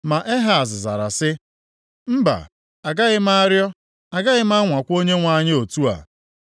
Ma Ehaz zara sị, “Mba, agaghị arịọ, agaghị m anwakwa Onyenwe anyị m otu a.”